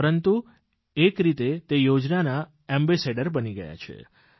પરંતુ એક રીતે તે યોજનાના એમ્બેસેડર બની ગયા છે